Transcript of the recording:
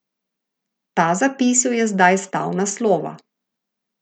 Ta zapis jo je zdaj stal naslova.